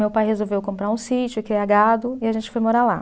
Meu pai resolveu comprar um sítio, criar gado e a gente foi morar lá.